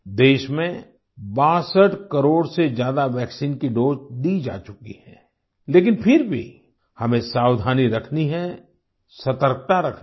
देश में 62 करोड़ से ज्यादा वैक्सीन की दोसे दी जा चुकी है लेकिन फिर भी हमें सावधानी रखनी है सतर्कता रखनी है